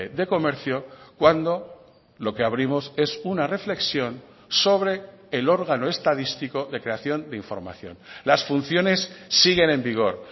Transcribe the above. de comercio cuando lo que abrimos es una reflexión sobre el órgano estadístico de creación de información las funciones siguen en vigor